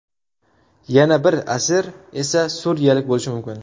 Yana bir asir esa suriyalik bo‘lishi mumkin.